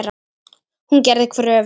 Hún gerði kröfur.